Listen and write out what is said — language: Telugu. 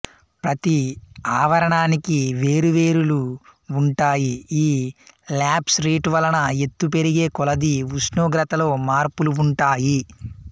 ప్రతి ఆవరణానికి వేరువేరు లు వుంటాయి ఈ ల్యాప్స్ రేటు వలన ఎత్తు పెరిగే కొలదీ ఉష్ణోగ్రతలో మార్పులు వుంటాయి